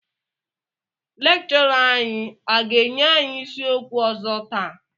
Lékchọrà anyị a ga-wnye anyị isi ókwu ọzọ taa?